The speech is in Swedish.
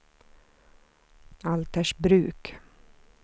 Altersbruk